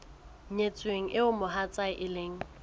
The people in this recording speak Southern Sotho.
nyetsweng eo mohatsae e leng